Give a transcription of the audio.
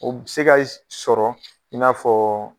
U bi se ka sɔrɔ i sɔrɔ i n'a fɔ